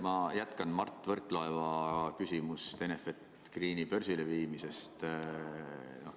Ma jätkan Mart Võrklaeva küsimust Enefit Greeni börsile viimise kohta.